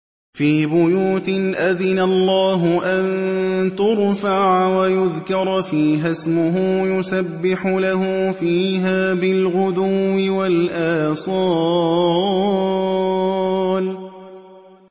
فِي بُيُوتٍ أَذِنَ اللَّهُ أَن تُرْفَعَ وَيُذْكَرَ فِيهَا اسْمُهُ يُسَبِّحُ لَهُ فِيهَا بِالْغُدُوِّ وَالْآصَالِ